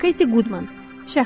Keti Qudman, şəxsi əhvalat.